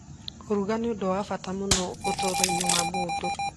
Kũruga nĩ ũndũ wa bata mũno ũtũũro-inĩ wa mũndũ.